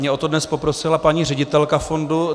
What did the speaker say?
Mě o to dnes poprosila paní ředitelka fondu.